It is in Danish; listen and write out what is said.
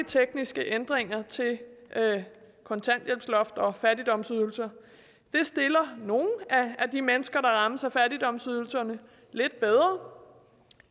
tekniske ændringer til kontanthjælpsloft og fattigdomsydelser stiller nogle af de mennesker der rammes af fattigdomsydelserne lidt bedre